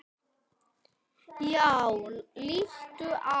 Já, líttu á.